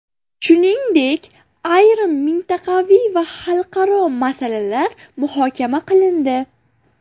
Shuningdek, ayrim mintaqaviy va xalqaro masalalar muhokama qilindi.